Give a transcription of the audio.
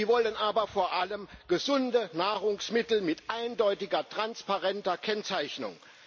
Sie wollen aber vor allem gesunde Nahrungsmittel mit eindeutiger, transparenter Kennzeichnung.